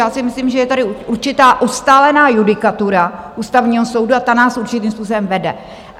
Já si myslím, že je tady určitá ustálená judikatura Ústavního soudu a ta nás určitým způsobem vede.